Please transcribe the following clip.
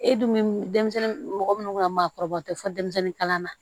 E dun denmisɛnnin mɔgɔ minnu ka maakɔrɔbaw tɛ fɔ denmisɛnnin kalanna